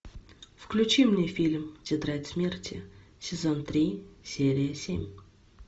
включи мне фильм тетрадь смерти сезон три серия семь